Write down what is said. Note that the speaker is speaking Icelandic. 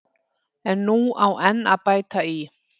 En nú á enn að bæta í.